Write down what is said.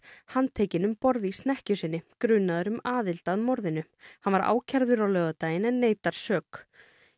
handtekinn um borð í snekkju sinni grunaður um aðild að morðinu hann var ákærður á laugardaginn en neitar sök